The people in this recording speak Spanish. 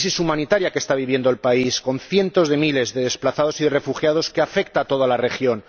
Una crisis humanitaria que está viviendo el país, con cientos de miles de desplazados y de refugiados y que afecta a toda la región.